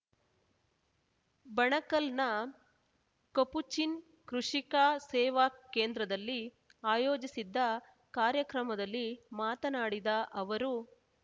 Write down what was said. ಬಣಕಲ್‌ನ Capuchin Krishika Seva ಕೇಂದ್ರದಲ್ಲಿ ಆಯೋಜಿಸಿದ್ದ ಕಾರ್ಯಕ್ರಮದಲ್ಲಿ ಮಾತನಾಡಿದ ಅವರು